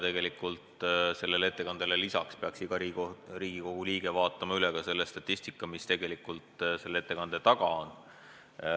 Tegelikult sellele ettekandele lisaks peaks iga Riigikogu liige vaatama üle ka statistika, mis selle ettekande taga on.